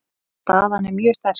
Staðan er mjög sterk.